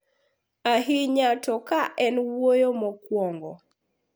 Ahinya to ka en wuoyo mokuongo.